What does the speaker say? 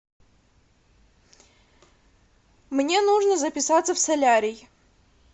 мне нужно записаться в солярий